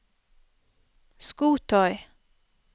skotøy